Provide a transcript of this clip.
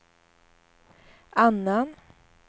annan